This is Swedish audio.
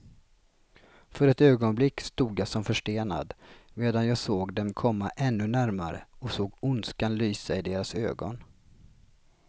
För ett ögonblick stod jag som förstenad, medan jag såg dem komma ännu närmare och såg ondskan lysa i deras ögon.